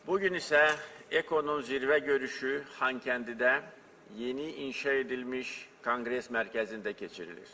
Bu gün isə EKO-nun zirvə görüşü Xankəndidə yeni inşa edilmiş Konqres Mərkəzində keçirilir.